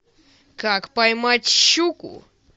как поймать щуку